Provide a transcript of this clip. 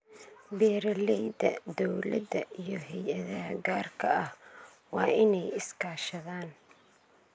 Beeralayda, dawladda iyo hay�adaha gaarka ah waa inay iska kaashadaan.